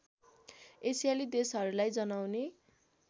एसियाली देशहरूलाई जनाउने